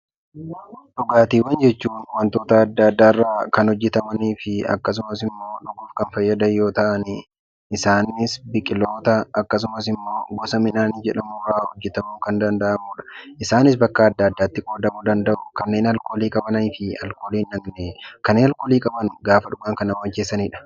Dhugaatiiwwan jechuun wantoota adda addaarraa kan hojjatamanii fi dhuguuf kan fayyadan yoo ta'an, isaanis biqiloota akkasumas immoo gosa midhaanii irraa hojjatamuun kan danda'amudha. Isaanis bakka adda addaatti qoodamuu danda'u. Kanneen alkoolii qaban gaafa dhugan kan nama macheessanidha.